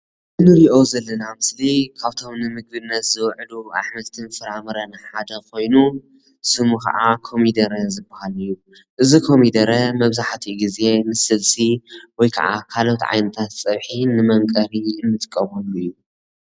እዚ ንሪኦ ዘለና ምስሊ ካብቶም ንምግብነት ዝዉዕሉ ኣሕምልትን ፍረ ምረን ሓደ ኾይኑ ስሙ ከዓ ኮሚደረ ዝበሃል እዩ እዚ ኮሚደረ መብዛሕቲኡ ግዘ ምስ ስልሲ ወይክዓ ካልኦት ዓይነታት ፅብሒ ንመምቀሪ እንጥቀመሉ እዩ።